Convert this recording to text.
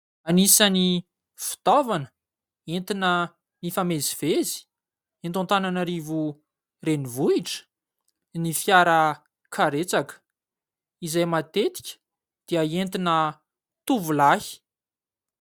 Anisan'ny fitaovana entina hifamezivezena eto Antananarivo renivohitra ny fiara karetsaka; izay matetika dia entina tovolahy.